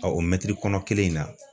o mɛtiri kɔnɔ kelen in na.